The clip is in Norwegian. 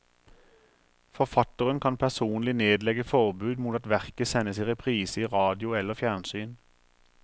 Forfatteren kan personlig nedlegge forbud mot at verket sendes i reprise i radio eller fjernsyn.